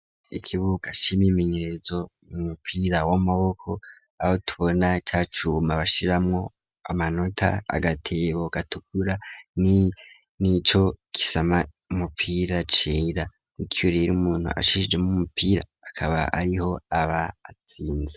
Ikibuka c'imyimenyerezo mumupira w'amaboko aho tubona cacuma bashiramwo amanota agatebo gatukura nico gisama umupira cera n'ico rero umuntu ashijemwo umupira aba ariho aba atsinze